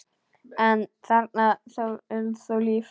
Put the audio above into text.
en þarna er þó líf.